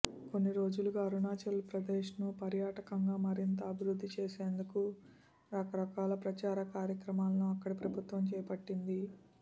కొన్ని రోజులుగా అరుణాచల్ ప్రదేశ్ను పర్యాటకంగా మరింత అభివృద్ధి చేసేందుకు రకరకాల ప్రచార కార్యక్రమాలను అక్కడి ప్రభుత్వం చేపట్టింది